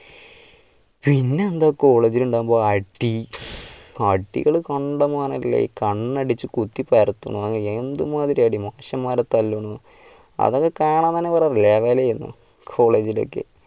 പിന്നെന്താ college ൽ ഉണ്ടാവുമ്പോൾ അടി അടികൾ കണ്ടമാനം അല്ലേ കണ്ണടിച്ചു കുത്തി പരത്തുന്ന എന്തുമാതിരി അടി മനുഷ്യന്മാരെ തല്ലുന്നു അതൊക്കെ കാണാൻ തന്നെ വേറെ level ആയിരുന്നു college ലൊക്കെ.